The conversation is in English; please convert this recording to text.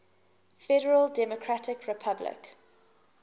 federal democratic republic